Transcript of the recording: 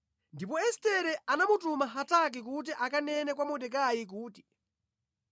Ndipo Estere anamutuma Hataki kuti akanene kwa Mordekai kuti,